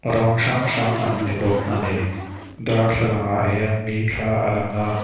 rawng hrang hrang an ni bawk ani darthlalang ah hian mi thla a lang a.